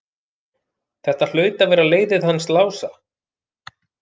Þetta hlaut að vera leiðið hans Lása.